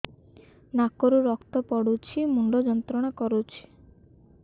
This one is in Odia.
ନାକ ରୁ ରକ୍ତ ପଡ଼ୁଛି ମୁଣ୍ଡ ଯନ୍ତ୍ରଣା କରୁଛି